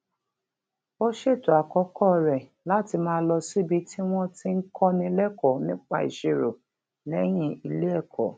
ó ṣètò àkókò rè láti máa lọ síbi tí wón ti ń kọ́ni lẹ́kọ̀ọ́ nípa ìṣirò léyìn ilé ẹ̀kọ́